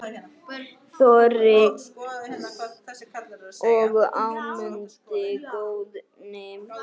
Þorgils og Ámundi Guðni.